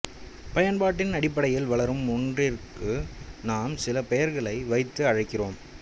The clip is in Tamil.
பயன்பாட்டின் அடிப்படையில் வளரும் ஒன்றிற்கு நாம் சில பெயர்களை வைத்து அழைக்கிறோம்